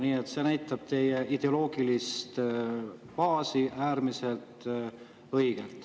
Nii et see näitab teie äärmiselt õiget ideoloogilist baasi.